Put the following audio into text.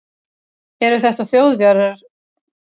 Eru þetta Þjóðverjar?